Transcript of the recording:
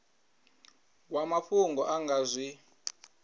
wa mafhungo a nga zwi